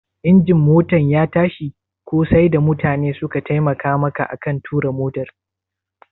Injin Motan ya tashi ko sai da mutane suka taimaka maka aka tura motar?